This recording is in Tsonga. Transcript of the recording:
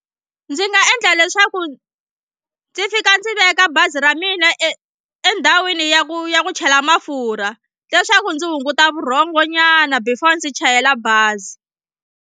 Ndzi nga endla leswaku ndzi fika ndzi veka bazi ra mina e endhawini ya ku ya ku chela mafurha leswaku ndzi hunguta vurhongonyana before ndzi chayela bazi.